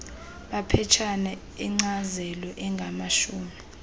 maphetshana enkcazelo angamashumi